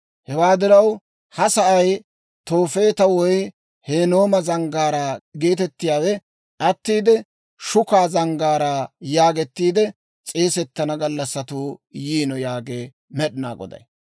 Hewaa diraw, ha sa'ay Toofeeta woy Hinnooma Zanggaaraa geetettiyaawe attiide, Shukaa Zanggaaraa yaagettiide s'eegettana gallassatuu yiino yaagee Med'inaa Goday.